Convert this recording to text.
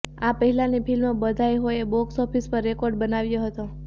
આ પહેલાની film Badhaai Ho box office પર રેકોર્ડ બનાવ્યો હતો